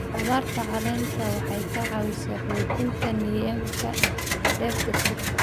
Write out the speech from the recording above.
Khudradda caleenta waxay caawisaa xoojinta nidaamka dheef-shiidka.